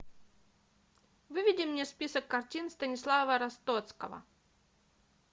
выведи мне список картин станислава ростоцкого